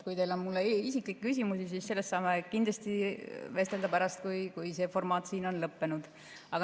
Kui teil on mulle isiklikke küsimusi, siis sellest saame kindlasti vestelda pärast, kui see formaat siin on lõppenud.